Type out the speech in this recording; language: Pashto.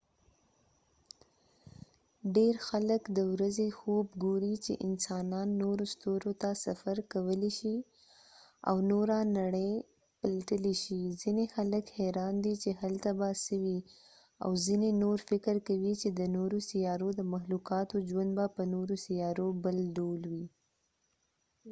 ډیر خلک د ورځې خوب ګوري چې انسانان نورو ستورو ته سفر کولی شي او نوره نړۍ پلټلی شي ځینې خلک حیران دي چې هلته به څه وي او ځینې نور فکر کوي چې د نورو سیارو د مخلوقاتو ژوند به په نورو سیارو بل ډول وي